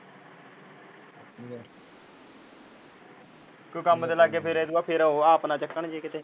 ਕੋਈ ਕੰਮ ਤੇ ਲੱਗ ਗਏ ਫੇਰ ਏਦੋਂ ਬਾਅਦ ਫੇਰ ਉਹ ਆਪ ਨਾ ਚੱਕਣ ਜੇ ਕਿਤੇ।